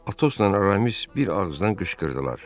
Atosla Aramis bir ağızdan qışqırdılar.